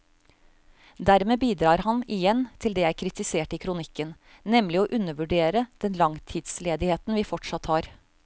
Dermed bidrar han igjen til det jeg kritiserte i kronikken, nemlig å undervurdere den langtidsledigheten vi fortsatt har.